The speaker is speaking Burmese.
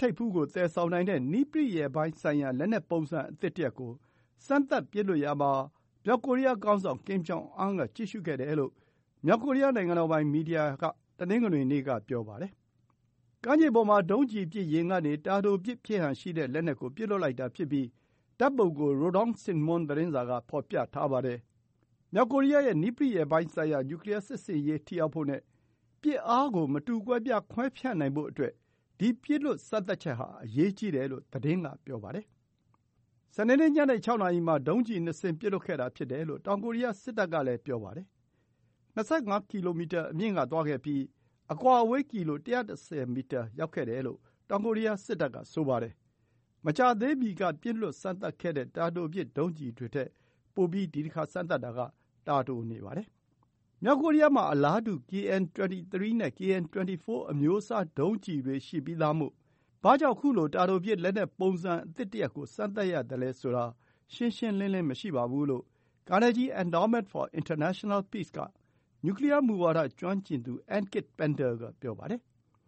ထိပ်ဖူး သယ်ဆောင်နိုင်တဲ့ နည်းပရိယာယ်ပိုင်းဆိုင်ရာ လက်နက်ပုံစံ အသစ်တရပ်ကို စမ်းသပ်ပစ်လွှတ်ရာမှာ မြောက်ကိုရီးယားခေါင်းဆောင် Kim Jong Un က ကြည့်ရှုခဲ့တယ်လို့ မြောက်ကိုရီးယား နိုင်ငံတော်ပိုင် မီဒီယာက တနင်္ဂနွေနေ့မှာ ပြောပါတယ်။ ကမ်းခြေပေါ်မှာ ဒုံးကျည်ပစ်ယာဉ်ကနေ တာတိုပစ်ဖြစ်ဟန်ရှိတဲ့ လက်နက်ကို ပစ်လွှတ်လိုက်တာဖြစ်ပြီး ဓာတ်ပုံကို Rodong Sinmun သတင်းစာက ဖော်ပြထားပါတယ်။ မြောက်ကိုရီးယားရဲ့ နည်းပရိယာယ်ပိုင်းဆိုင်ရာ နျူကလီးယားစစ်ဆင်ရေး ထိရောက်ဖို့နဲ့ ပစ်အားကို မတူကွဲပြား ခွဲဖြန့်နိုင်ဖို့အတွက် အရေးကြီးတယ်လို့ သတင်းက ဆိုပါတယ်။ စနေနေ့ ညနေ ၆ နာရီမှာ ဒုံးကျည် ၂ စင်း ပစ်လွှတ်ခဲ့တာ ဖြစ်တယ်လို့ တောင်ကိုရီးယား စစ်တပ်ကလည်း ပြောပါတယ်။ အမြင့် ၂၅ ကီလိုမီတာအမြင့်က သွားခဲ့ပြီး အကွာအဝေး ကီလို ၁၁၀ မီတာ ရောက်ခဲ့တယ်လို့ တောင်ကိုရီးယားစစ်တပ်က ပြောပါတယ်။ မကြာသေးမီက ပစ်လွှတ်စမ်းသပ်ခဲ့တဲ့ တာတိုပစ် ဒုံးကျည်တွေထက် ပိုပြီး တာတိုနေပါတယ်။ မြောက်ကိုရီးယားမှာ အလားတူ KN 23 နဲ့ KN 24 အမျိုးအစား ဒုံးကျည်တွေ ရှိပြီးသားမို့ ဘာကြောင့် ခုလို တာတိုပစ် လက်နက်ပုံစံအသစ်တရပ်ကို စမ်းသပ်ရသလဲဆိုတာ ရှင်းရှင်းလင်းလင်း မရှိပါဘူးလို့ Carnegie Endowment for International Peace က နျူကလီးယားမူဝါဒ ကျွမ်းကျင်သူ Ankit Panda က ပြောပါတယ်